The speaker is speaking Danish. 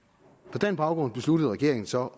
på den baggrund besluttede regeringen så